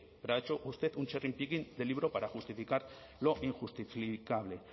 pero ha hecho usted un cherry picking de libro para justificar lo injustificable